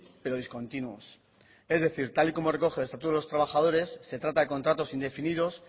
pero discontinuos es decir tal y como recoge el estatuto de los trabajadores se trata de contratos indefinidos